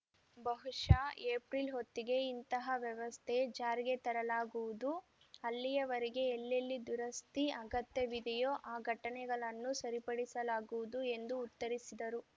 ಬಹುಶಃ ಏಪ್ರಿಲ್‌ ಹೊತ್ತಿಗೆ ಇಂತಹ ವ್ಯವಸ್ಥೆ ಜಾರಿಗೆ ತರಲಾಗುವುದು ಅಲ್ಲಿಯವರೆಗೆ ಎಲ್ಲೆಲ್ಲಿ ದುರಸ್ತಿ ಅಗತ್ಯವಿದೆಯೋ ಆ ಘಟನೆಗಳನ್ನು ಸರಿಪಡಿಸಲಾಗುವುದು ಎಂದು ಉತ್ತರಿಸಿದರು